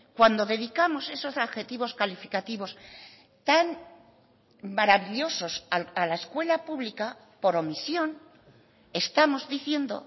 cuando dedicamos esos adjetivos calificativos tan maravillosos a la escuela pública por omisión estamos diciendo